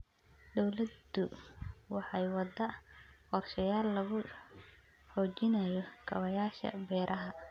Dawladdu waxay waddaa qorshayaal lagu xoojinayo kaabayaasha beeraha.